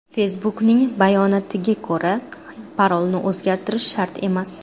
Facebook’ning bayonotia ko‘ra, parolni o‘zgartirish shart emas.